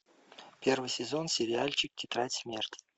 первый сезон сериальчик тетрадь смерти